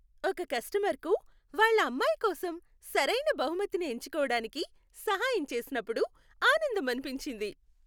ఒక కస్టమర్కు వాళ్ళ అమ్మాయి కోసం సరైన బహుమతిని ఎంచుకోవడానికి సహాయం చేసినప్పుడు ఆనందమనిపించింది.